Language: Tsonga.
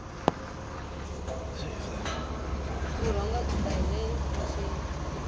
vurhonga byi ta hile vuxeni